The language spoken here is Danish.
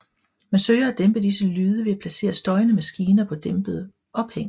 Man søger at dæmpe disse lyde ved at placere støjende maskiner på dæmpede ophæng